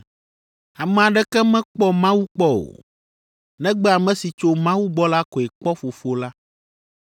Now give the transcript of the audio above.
Ame aɖeke mekpɔ Mawu kpɔ o, negbe ame si tso Mawu gbɔ la koe kpɔ Fofo la.